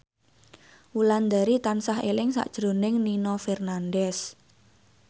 Wulandari tansah eling sakjroning Nino Fernandez